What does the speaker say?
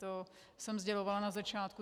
To jsem sdělovala na začátku.